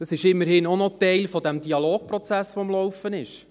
Das ist immerhin auch noch Teil des Dialogprozesses, der am Laufen ist.